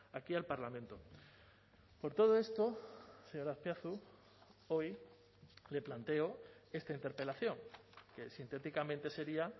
aquí al parlamento por todo esto señor azpiazu hoy le planteo esta interpelación que sintéticamente sería